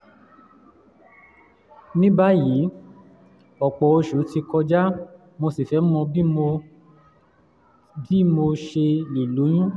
ní báyìí ọ̀pọ̀ oṣù ti kọjá mo sì fẹ́ mọ bí mo mọ bí mo ṣe lè lóyún